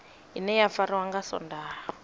ine ya fariwa nga swondaha